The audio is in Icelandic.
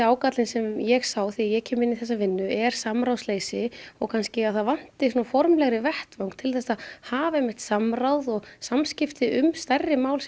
ágallinn sem ég sá þegar ég kem inn í þessa vinnu er samráðsleysi og að það vanti formlegri vettvang til þess að hafa samráð og samskipti um stærri mál